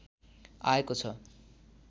आएको छ